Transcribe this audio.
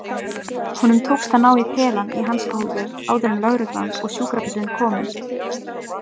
Honum tókst að ná í pelann í hanskahólfið áður en lögreglan og sjúkrabíllinn komu.